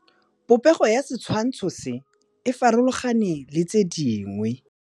Popêgo ya setshwantshô se, e farologane le tse dingwe.